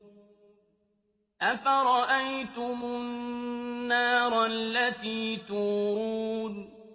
أَفَرَأَيْتُمُ النَّارَ الَّتِي تُورُونَ